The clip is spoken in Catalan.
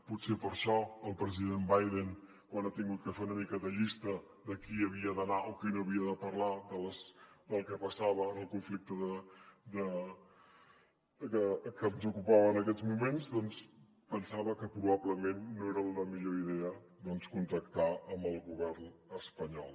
potser per això el president biden quan ha hagut que fer una mica de llista de qui havia d’anar o qui no havia de parlar del que passava en el conflicte que ens ocupava en aquests moments doncs pensava que probablement no era la millor idea contactar amb el govern espanyol